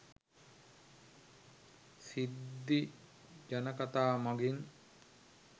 සිද්ධි ජනකතා මඟින්